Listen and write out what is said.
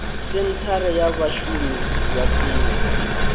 senthara ya vhashumi ya tsini